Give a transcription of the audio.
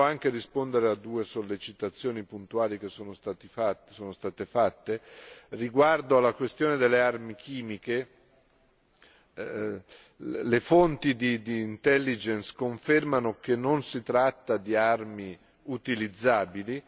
Volevo anche rispondere a due sollecitazioni puntuali che sono state fatte riguardo alla questione delle armi chimiche. Le fonti di intelligence confermano che non si tratta di armi utilizzabili.